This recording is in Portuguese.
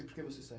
E por que você